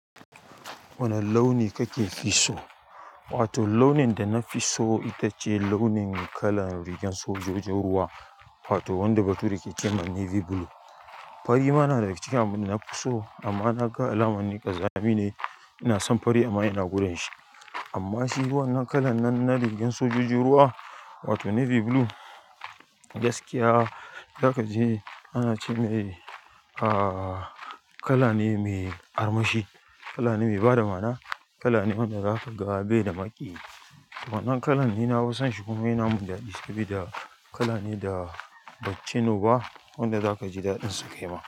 Wane launi kake fi so? Wato launin da na fi so ita ce launin kalan rigar sojojin ruwa, wato wanda bature ke ce ma navy blue. Fari ma na da daga cikin abin da na fi so amma na ga alaman ne ƙazami ne. Ina son fari amma yana goren shi. Amma shi wannan kalan nan na rigar sojojin ruwa, wato navy blue, gaskiya za ka ji ana ce mai, ah, kala ne mai armashi, kala ne mai ba da mana, kala ne wanda za ka ga bai da maƙiyi. Wannan kalan ni na fi son shi kuma yana min daɗi sabida kala ne da bai cinu ba wanda za ka ji daɗin sake ma.